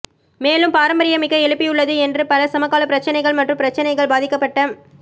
மேலும் பாரம்பரியமிக்க எழுப்பியுள்ளது என்று பல சமகால பிரச்சினைகள் மற்றும் பிரச்சினைகள் பாதிக்கப்பட்ட